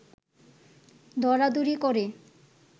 দরাদরি করে